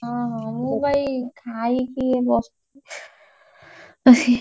ଓହୋ ମୁଁ ବା ଏଇ ଖାଇକି ବସି